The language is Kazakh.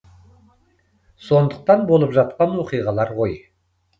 сондықтан болып жатқан оқиғалар ғой